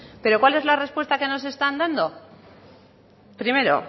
pero cuál es la respuesta que nos están dando primero